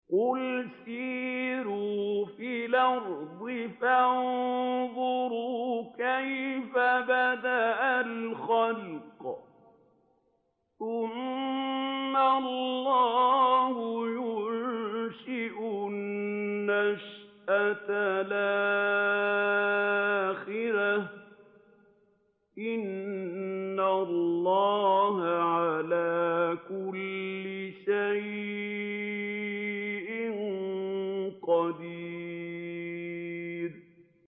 قُلْ سِيرُوا فِي الْأَرْضِ فَانظُرُوا كَيْفَ بَدَأَ الْخَلْقَ ۚ ثُمَّ اللَّهُ يُنشِئُ النَّشْأَةَ الْآخِرَةَ ۚ إِنَّ اللَّهَ عَلَىٰ كُلِّ شَيْءٍ قَدِيرٌ